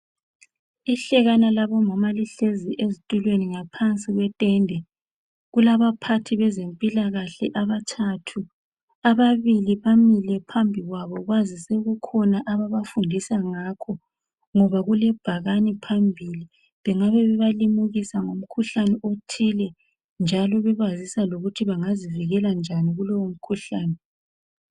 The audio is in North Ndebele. ihlekana labomama lihlezi ezitulweni ngaphansi kwetende kulabaphathi bezempilakahle abathathu ababili bamile phambi kwabo kwazi seukhona abafundisa ngakho ngoba kule bhakani phambili bengabe bebalimukisa ngomkhuhlane othile bjalo bebazisa ukuthin bengazivikela njani kulowo mkhuhlane